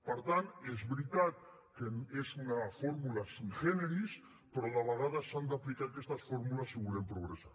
per tant és veritat que és una fórmula sui generis però de vegades s’han d’aplicar aquestes fórmules si volem progressar